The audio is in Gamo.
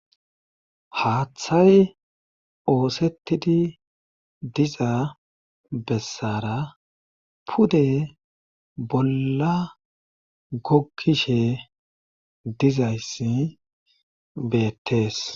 haaththay oosettidi diza bessara pude bolla gokkishe dizayssi beettees